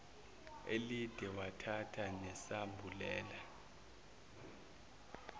elide wathatha nesambulela